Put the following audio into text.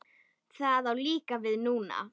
Það á líka við núna.